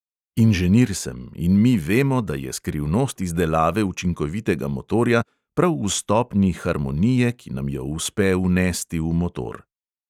Inženir sem in mi vemo, da je skrivnost izdelave učinkovitega motorja prav v stopnji harmonije, ki nam jo uspe vnesti v motor.